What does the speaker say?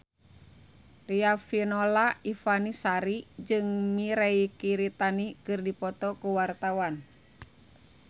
Riafinola Ifani Sari jeung Mirei Kiritani keur dipoto ku wartawan